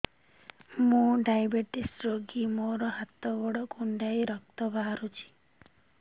ମୁ ଡାଏବେଟିସ ରୋଗୀ ମୋର ହାତ ଗୋଡ଼ କୁଣ୍ଡାଇ ରକ୍ତ ବାହାରୁଚି